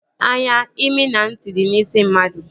Anya, imi na ntị dị n'isi mmadụ